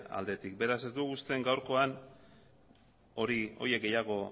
aldetik beraz ez dugu uste gaurkoan horiek gehiago